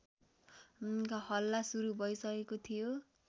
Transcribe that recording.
हल्ला सुरु भइसकेको थियो